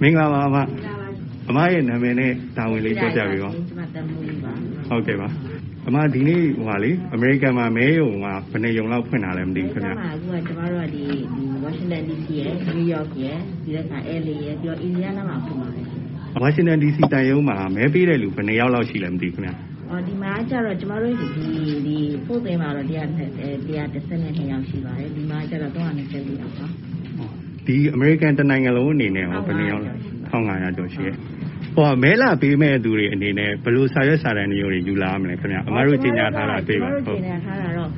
မင်္ဂလာပါအမ၊ အမရဲ့နာမည်နဲ့ တာဝန်လေး ပြောပြပေးပါ။... ကျမ သံမှူးကြီးပါ။ ဒီနေ့ အမေရိကန်မှာ မဲရုံက ဘယ်နှစ်ရုံလောက် ဖွင့်ထားလဲမသိဘူး။ မဲရုံက ဝါရှင်တန်ဒီစီရယ်၊ နယူးယောက်ရယ်၊ အယ်လ်အေရယ်၊ ပြီးတော့ အင်ဒီယားနားမှာ ဖွင့်ပါတယ်။ ဝါရှင်တန်ဒီစီသံရုံးမှာ မဲပေးတဲ့သူ ဘယ်နှစ်ယောက်လောက်ရှိလဲ။ ဖို့ဒ်ဝိန်းမှာတော့ ၁၁၂ ယောက် ရှိပါတယ်။ ဒီမှာကြတော့ ၃၂၄ ယောက်ပါ။ အမေရိကန် တနိုင်ငံလုံး အနေနဲ့ရော။ ၁,၅၀၀ ကျော်ရှိပါတယ်။ မဲလာပေးမယ့်သူတွေအနေနဲ့ ဘယ်လို စာရွက်စာတမ်းမျိုးတွေ ယူလာရမလဲခင်ဗျ။ အမတို့ ကြေညာထားတာ တွေ့ပါတယ်။ ကျမတို့ ကြေညာထားတာတော့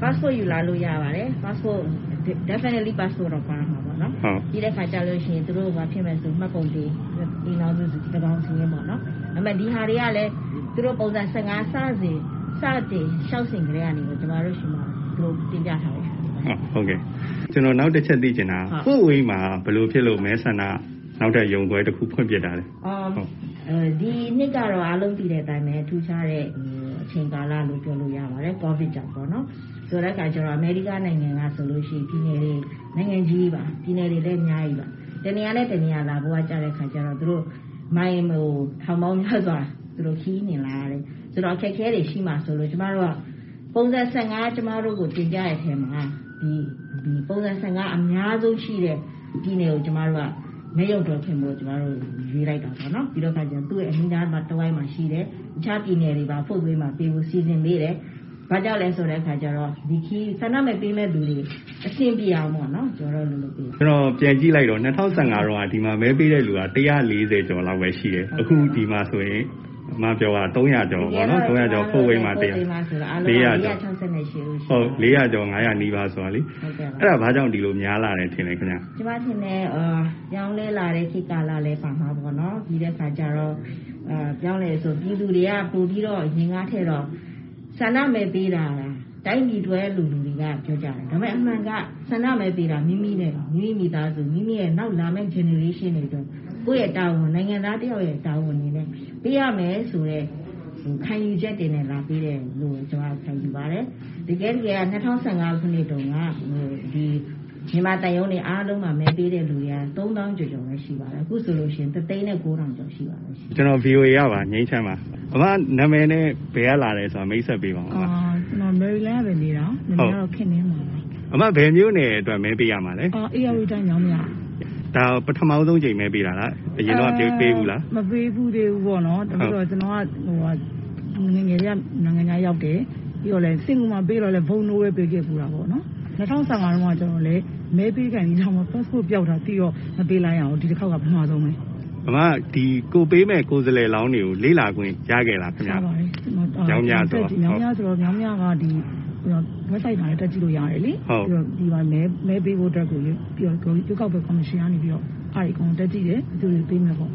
ပတ်စ်ပို့ ယူလာလို့ရပါတယ်။ ပြီးတော့ သူတို့ အဆင်ပြေမယ်ဆိုရင် မှတ်ပုံတင်၊ အိမ်ထောင်စု သန်းကောင်စာရင်းပေါ့။ ဒါတွေကလည်း သူတို့ ပုံစံ-၁၅ စတင် လျှောက်စဉ်ကတည်းက ကျမတို့ဆီမှာ သူတို့ တင်ပြထားပါတယ်။ ကျနော် နောက်တခုသိချင်တာ ဖို့ဒ်ဝိန်းမှာ ဘယ်လိုဖြစ်လို့ နောက်ထပ် မဲဆန္ဒ ရုံးခွဲတခု ဖွင့်ဖြစ်တာလဲ။ ဒီနှစ်ကတော့ အားလုံးသိတဲ့အတိုင်း ထူးခြားတဲ့ အချိန်ကာလလို့ ပြောလို့ရပါတယ်။ ကိုဗစ်ကြောင့်ပေါ့။ အမေရိကန်နိုင်ငံကဆို ပြည်နယ်တွေလည်း အများကြီး၊ တနေရာနဲ့ တနေရာ လာဖို့ကျတော့ မိုင်ပေါင်းများစွာ သူတို့ ခရီးနှင်လာရတယ်။ ဆိုတော့ အခက်အခဲတွေ ရှိမှာစိုးလို့ ကျမတို့က ပုံစံ-၁၅ ကျမတို့ကို တင်ပြတဲ့အခါမှာ ပုံစံ-၁၅ အများဆုံးရှိတဲ့ ပြည်နယ်ကို ကျမတို့က မဲရုံတရုံဖွင့်ဖို့ ရွေးလိုက်တာပေါ့။ အဲဒါကြောင့် သူ့ရဲ့ အနီးနားတဝိုက်မှာရှိတဲ့ တခြားပြည်နယ်တွေပါ ဖို့ဒ်ဝိန်းမှာပေးဖို့ စီစဉ်ပေးတယ်။ ဘာကြောင့်လဲဆိုတော့ ဆန္ဒမဲပေးတဲ့သူတွေ အဆင်ပြေအောင်။ ၂၀၁၅ တုန်းက ဒီမှာမဲပေးတဲ့သူက ၁၄၀ ကျော်လောက်ပဲရှိတယ်။ အခု ဒီမှာဆိုရင် အမပြောတာ ၄၀၀ ကျော်၊ ၅၀၀ နီးပါးဆိုတော့ အဲဒါ ဘာကြောင့် ဒီလိုများလာတယ်ထင်လဲ။ ကျမထင်တယ် ပြောင်းလဲလာတဲ့ ခေတ်ကာလည်း ပါမှာပေါ့နော်။ ပြီးတော့ ပြောင်းတယ်ဆိုတာ ပြည်သူတွေက ပိုပြီး များများထည့်တော့ ဆန္ဒမဲပေးကြတာ တိုင်းပြည်အတွက်လို့ လူတွေက ပြောကြတယ်။ ဒါပေမယ့် အမှန်က ဆန္ဒမဲပေးတာ မိမိနဲ့ မိမိ မိသားစု၊ နောက်လာမယ့် Generation တွေအတွက်၊ ကိုယ့်ရဲ့တာဝန် နိုင်ငံသားတယောက်ရဲ့ တာဝန်အနေနဲ့ ပေးရမယ်ဆိုတဲ့ ခံယူချက်တွေနဲ့ လာပေးတယ်လို့ပဲ ကျမခံယူပါတယ်။ ၂၀၁၅ ခုနှစ်တုန်းက မြန်မာသံရုံးတွေ အားလုံးမှာ မဲပေးတဲ့သူ ၃၀,၀၀၀ ကျော်ကျော်ပဲရှိပါတယ်။ အခုဆိုရင် ၁၀၉,၀၀၀ ကျော်ရှိပါတယ်။ အမနာမည်နဲ့ ဘယ်ကလာတယ်ဆိုတာ မိတ်ဆက်ပေးပါဦး။ မေရီလန်းမှာနေတာ။ နာမည်က ခင်နှင်းမာပါ။ အမ ဘယ်မြို့နယ်အတွက် မဲပေးရမှာလဲ။ ဧရာဝတီတိုင်း၊ မြောင်းမြ။ ပထမဆုံးအကြိမ် မဲပေးတာလား၊ အရင်က မဲပေးဖူးလား။ မပေးဘူးသေးပါဘူး။ ကျနော်က ငယ်ငယ်တည်းက နိုင်ငံခြားရောက်တယ်။ ပြီးတော့ စင်ကာပူမှာ ပေးခဲ့တုန်းကလည်း Vote No ပဲ ပေးခဲ့ဖူးတာ။ ၂၀၁၅ တုန်းက ကျနော်လည်း မဲပေးခါနီးမှ ပတ်စ်ပို့ပျောက်တာသိတော့ မပေးလိုက်ရဘူး။ ဒီတခေါက်က ပထမဆုံးပဲ။ အမ ကိုယ်ပေးတဲ့ ကိုယ်စားလှယ်လောင်းတွေကို လေ့လာခွင့် ရခဲ့လား။ မြောင်းမြဆိုတော့။ ရပါတယ်။ မြောင်းမြဆိုတော့ မြောင်းမြက ဝက်ဘ်ဆိုက်မှာလည်း တက်ကြည့်လို့ရတယ်လေ။ ပြီးတော့ ဒီမှာ မဲပေးဖို့အတွက်ကို ရွေးကောက်ပွဲ ကော်မရှင်က အဲဒါတွေ အကုန်တက်ကြည့်တယ်။ ဘယ်သူ့ကိုပေးမယ်ပေါ့